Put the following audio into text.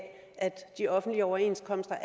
at de offentlige overenskomster